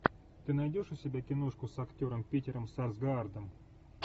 ты найдешь у себя киношку с актером питером сарсгаардом